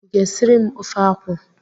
Ị ga esiri m ofe akwụ?